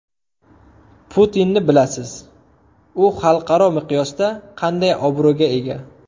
Putinni bilasiz, u xalqaro miqyosda qanday obro‘ga ega.